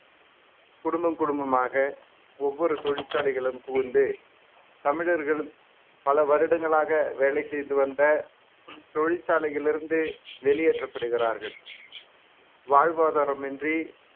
குடும்பம் குடும்பமாக ஒவ்வொரு தொழிற்சாலைகளும் புகுந்து தமிழர்கள் பல வருடங்களாக வேலை செய்து வந்த தொழிற்சாலையில் இருந்து வெளியேற்றப்படுகிறார்கள் வாழ்வாதாரமின்றி